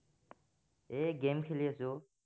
এৰ game খেলি আছো অ